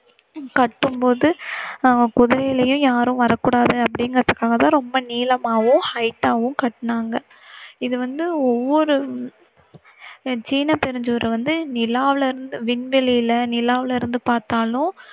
கட்டும்போது ஆஹ் பொதுவில் யாரும் வரக்கூடாது அப்படீங்குறதுக்காக தான் நீளமாவும் height வும் கட்டினாங்க. இது வந்து ஒவ்வொரு சீன பெருஞ்சுவரை வந்து நிலாவுல இருந்~விண்வெளில நிலாவில இருந்து பாத்தாலும்